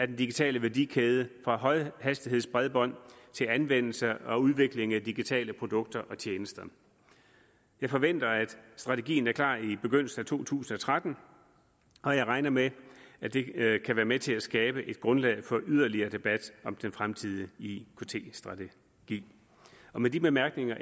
digitale værdikæde fra højhastighedsbredbånd til anvendelse og udvikling af digitale produkter og tjenester jeg forventer at strategien er klar i begyndelsen af to tusind og tretten og jeg regner med at det kan være med til at skabe et grundlag for yderligere debat om den fremtidige ikt strategi med de bemærkninger